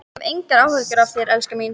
Ég hef engar áhyggjur af þér, elskan mín.